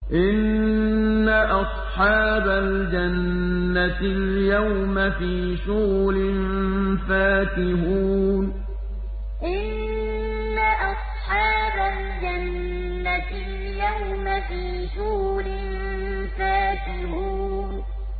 إِنَّ أَصْحَابَ الْجَنَّةِ الْيَوْمَ فِي شُغُلٍ فَاكِهُونَ إِنَّ أَصْحَابَ الْجَنَّةِ الْيَوْمَ فِي شُغُلٍ فَاكِهُونَ